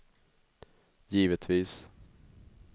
givetvis